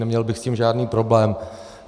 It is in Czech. Neměl bych s tím žádný problém.